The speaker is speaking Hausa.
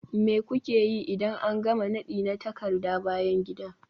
Me kuke yi idan an gama nadi na takarda bayan gida?